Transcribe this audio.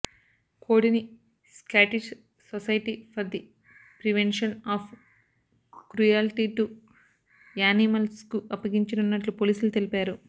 కోడిని Scottish society for the prevention of cruelty to యానిమల్స్కు అప్పగించనున్నట్లు పోలీసులు తెలిపారు